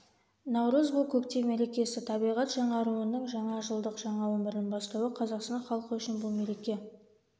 наурыз бұл көктем мерекесі табиғат жаңаруының жаңа жылдың жаңа өмірдің бастауы қазақстан халқы үшін бұл мереке